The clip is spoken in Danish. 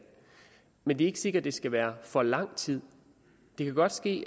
men det er ikke sikkert det skal være for lang tid det kan godt ske